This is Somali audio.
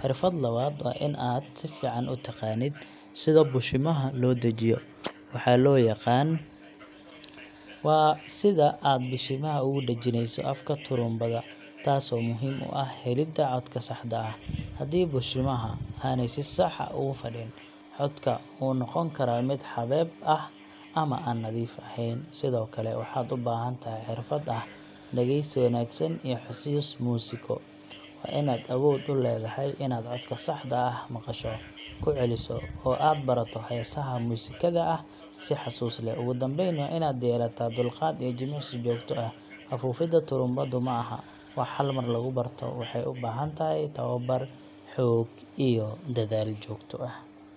Xirfdad labaad, waa in aad sifiican u taqaanid sida bishimaha loo dajiyo waxaa loo yaqaan..,waa sida aad bishimaha ugu dhajinayso afka turumbada tasoo muhim u ah helidda codka saxda ah, haddii bishimaha aney si sax ah ugu fadhin, codka wuxuu noqon karaa mid xabeeb ah ama aan nadiif aheyn . Sidokale waxaad u bahan tahay xirfada dhageysi wanaagsan iyo xusiis musiiko ,waa inaad awood u leedahay inaad coska saxda ah, aad maqasho ,ku celiso oo aad barato heesha musikaha ah si xasuus leh . Ugu dambeyn waa inaad yeelata dulqaad iyo jimicsi joogto ah, afuufidda turumbado ma aha wax hal mar lagu barto ,waxey u bahan tahay tababar, xoog iyo dadaal joogto ah .